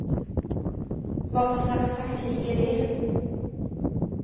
Vad för slags taktik är det?